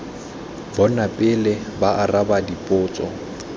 bona pele ba araba dipotso